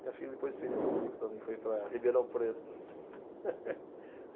Minha filha depois fez isso comigo também, foi para Ribeirão Preto.